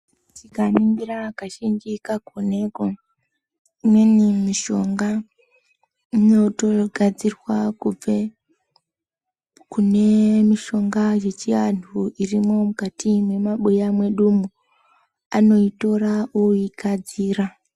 Tikaningira kazhinji kakoneko imweni mishonga inotogadzirwa kubve kune mushonga yechivandu urimo mukati mwemabuya mwedumo anoitora oigadzira.